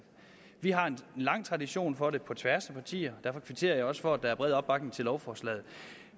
vi har en lang tradition for det på tværs af partierne og derfor kvitterer jeg også for at der er bred opbakning til lovforslaget